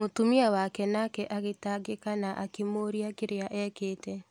Mũtumia wake nake agĩtangĩka na akĩmũũrĩa kĩria ekete.